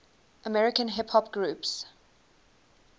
american hip hop groups